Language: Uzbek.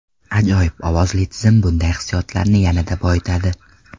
Ajoyib ovozli tizim bunday hissiyotlarni yanada boyitadi.